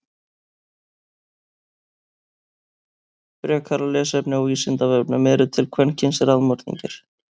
Frekara lesefni á Vísindavefnum: Eru til kvenkyns raðmorðingjar?